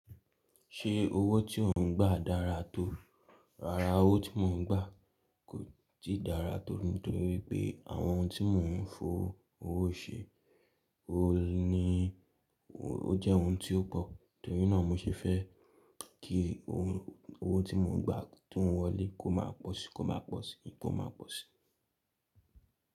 Ṣé owó tí ò ń gbà dára tó? Rárá owó tí mò ń gbà kò tí ì dára tó nítorí pé àwọn ohun tí mò ń fowó se, oun ní ó jẹ́ ohun tí ó pọ̀. Nítorínà mó ṣe fẹ́ kí owó tí mò ń gba tó ń wọlé kó má pọ̀ sí i kó má pọ̀ sí i kó má pọ̀ sí i.